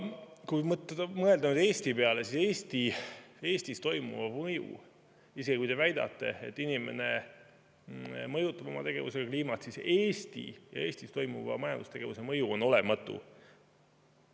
Kui mõelda Eesti peale – isegi kui te väidate, et inimene mõjutab oma tegevusega kliimat –, siis Eesti ja Eestis toimuva majandustegevuse mõju on olematu.